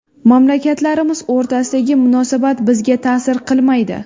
Mamlakatlarimiz o‘rtasidagi munosabat bizga ta’sir qilmaydi”.